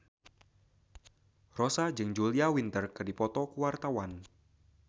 Rossa jeung Julia Winter keur dipoto ku wartawan